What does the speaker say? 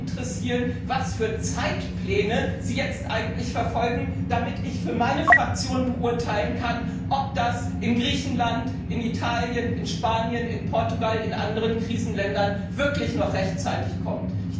sehr interessieren, was für Zeitpläne Sie jetzt eigentlich verfolgen, damit ich für meine Fraktion beurteilen kann, ob das in Griechenland, in Italien, in Spanien, in Portugal, in anderen Krisenländern wirklich noch rechtzeitig kommt.